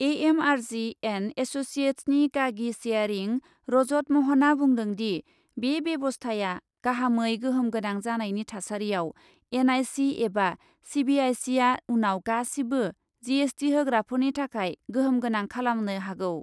AMRG and एससिएटसनि गागि सेयरिं रजत महनआ बुंदोंदि , बे बेबस्थाया गाहामै गोहोम गोनां जानायनि थासारियाव एनआइ सि एबा सिबिआइसि आ उनाव गासिबो जिएसटि होग्राफोरनि थाखाय गोहोम गोनां खालामनो हागौ ।